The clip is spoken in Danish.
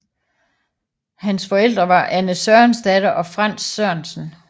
Hans forældre var Anne Sørensdatter og Frantz Sørensen